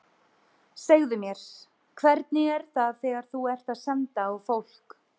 Segðu mér, hvernig er það þegar þú ert að senda á fólk.